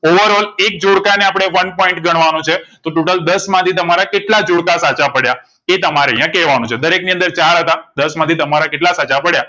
over all એક જોડકા ને આપણે એક point ગણવા નો છે તો total દસ માંથી તમારા કેટલા જોડકા સાચા પડયા એ તમારે અહીંયા કેવા નું છે દરેક ની અંદર ચાર હતા દસ માંથી તમારા કેટલા સાચા પડયા